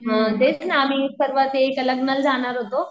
हम्म तेच ना च्या लग्नाला जाणार होतो.